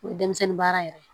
O ye denmisɛnnin baara yɛrɛ ye